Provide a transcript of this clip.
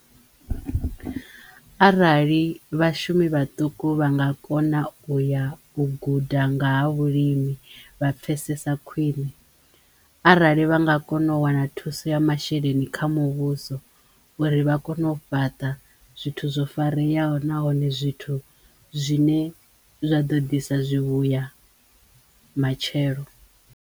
Arali vhashumi vhaṱuku vha nga kona uya u guda nga ha vhulimi vha pfesesa khwine, arali vha nga kono u wana thuso thuso ya masheleni kha muvhuso uri vha kone u fhaṱa zwithu zwo fareyaho nahone zwithu zwine zwa ḓo ḓisa zwivhuya matshelo.